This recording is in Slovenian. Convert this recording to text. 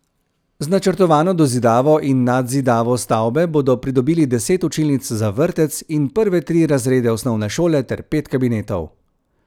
Z načrtovano dozidavo in nadzidavo stavbe bodo pridobili deset učilnic za vrtec in prve tri razrede osnovne šole ter pet kabinetov.